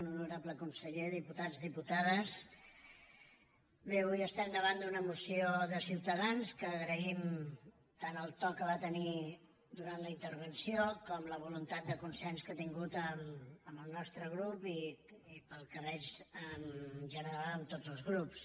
honorable conseller diputats diputades bé avui estem davant d’una moció de ciutadans que agraïm tant el to que va tenir durant la intervenció com la voluntat de consens que ha tingut amb el nostre grup i pel que veig en general amb tots els grups